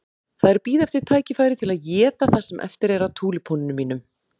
Þær bíða eftir tækifæri til að éta það sem eftir er af túlípönunum mínum.